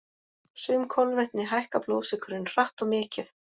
Sum kolvetni hækka blóðsykurinn hratt og mikið.